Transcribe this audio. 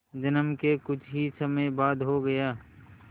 जन्म के कुछ ही समय बाद हो गया